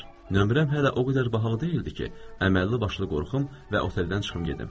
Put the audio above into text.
Nömrəm hələ o qədər baha deyildi ki, əməlli başlı qorxum və oteldən çıxım gedim.